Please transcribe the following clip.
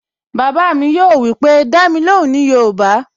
Bàbá mi yóò wípé, "Dá mi lóhùn ní yoòbá"